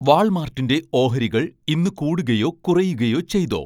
വാൾമാർട്ടിന്റെ ഓഹരികൾ ഇന്ന് കൂടുകയോ കുറയുകയോ ചെയ്തോ